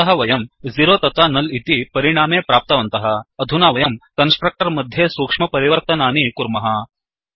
अतः वयं 0 तथा नुल् इति परिणामे प्राप्तवन्तः अधुना वयं कन्स्ट्रक्टर् मध्ये सूक्ष्म परिवर्तनानि कुर्मः